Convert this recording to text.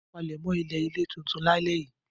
Palẹ̀mọ́ ilé-ilẹ̀ tuntun lálẹ́ yìí!